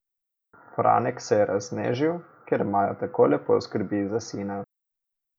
Franek se je raznežil, ker Majo tako lepo skrbi za sina.